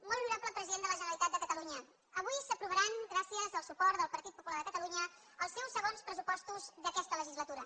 molt honorable president de la generalitat de catalunya avui s’aprovaran gràcies al suport del partit popular de catalunya els seus segons pressupostos d’aquesta legislatura